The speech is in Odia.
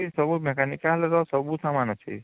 ସବୁ mechanical ର ସବୁ ସାମାନ ଅଛି